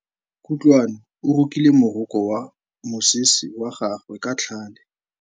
Kutlwanô o rokile morokô wa mosese wa gagwe ka tlhale.